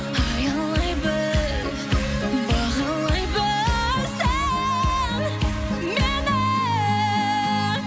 аялай біл бағалай біл сен мені